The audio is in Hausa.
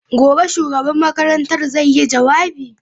Gobe ​​shugaban makarantar zai yi jawabi?